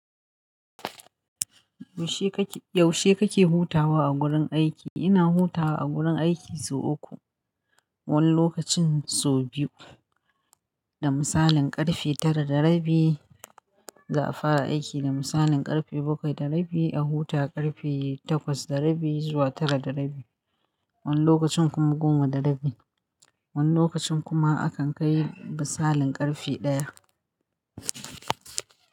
Yaushe kake hutawa a gurin aiki? Ina hutawa a gurin aiki sau uku, wani lokacin sau biyu. Da misalin karfe tara da rabi za a fara aiki, da misalin karfe bakwai da rabi a huta, karfe takwas da rabi zuwa tara da rabi. Wani lokacin kuma goma da rabi. Wani lokacin kuma akan kai misalin karfe ɗaya.